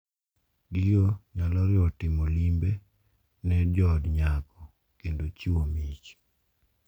Gigo nyalo riwo timo limbe ne jood nyako kendo chiwo mich .